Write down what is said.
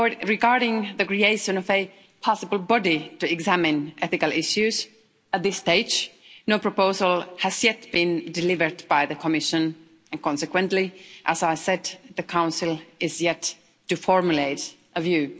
Regarding the creation of a possible body to examine ethical issues at this stage, no proposal has yet been delivered by the Commission and, consequently, as I said, the Council is yet to formulate a view.